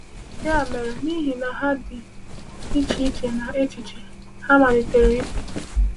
Ya mere, n’ihi na ha dị iche iche na echiche, ha malitere ịpụ.